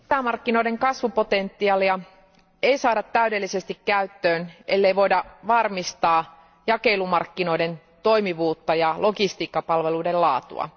Arvoisa puhemies, sisämarkkinoiden kasvupotentiaalia ei saada täydellisesti käyttöön, ellei voida varmistaa jakelumarkkinoiden toimivuutta ja logistiikkapalveluiden laatua.